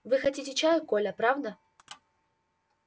вы хотите чаю коля правда